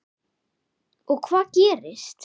Og hvað gerist?